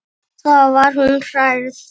Þá var hún hrærð.